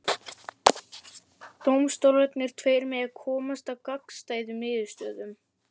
Dómstólarnir tveir mega komast að gagnstæðum niðurstöðum.